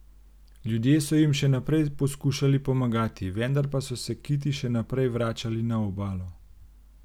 Ljudje so jim še naprej poskušali pomagati, vendar pa so se kiti še naprej vračali na obalo.